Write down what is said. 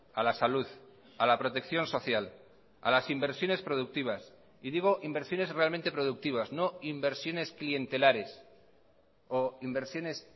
a la salud a la protección social a las inversiones productivas y digo inversiones realmente productivas no inversiones clientelares o inversiones